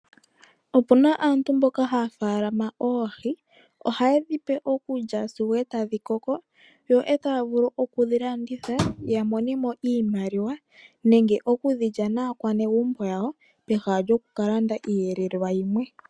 Opuna aantu mboka haya faalama oohi, ohaye dhipe okulya sigo e tadhi koko, yo e taya vulu okudhi landitha, ya monemo iimaliwa, nenge okudhi lya naakwanezimo yawo, peha lyokuka landa iiyelelwa yilwe.